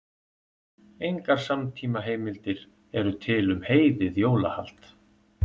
Engar samtímaheimildir eru til um heiðið jólahald.